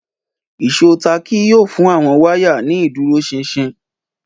Ìṣó táàkì yóò fún àwọn wáyà ní ìdúróṣinṣin